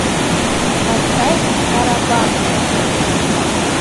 поставь сарабанда